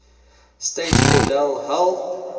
state cordell hull